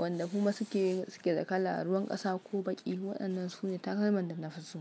wanda kuma suke suke da kala, ruwan ƙasa ko baƙi. Waɗannan su ne takalman da na fi so.